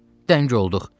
Bəh, dəng olduq.